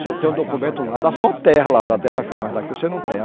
Se eu tenho um documento lá, dá só terra lá, da terra firme, mas daqui você não tem.